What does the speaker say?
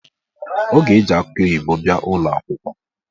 O ga-eji akị oyibo bịa ụlọakwụkwọ